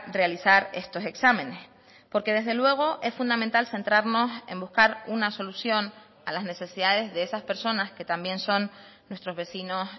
realizar estos exámenes porque desde luego es fundamental centrarnos en buscar una solución a las necesidades de esas personas que también son nuestros vecinos